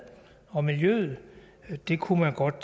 og miljøet det kunne man godt